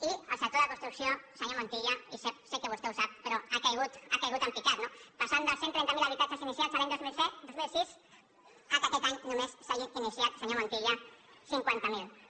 i el sector de la construcció senyor montilla i sé que vostè ho sap ha caigut en picat no passant dels cent i trenta miler habitatges iniciats l’any dos mil sis al fet que aquest any només se n’hagin iniciat senyor montilla cinquanta miler